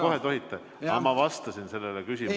Jah, kohe tohite, aga ma vastasin sellele küsimusele.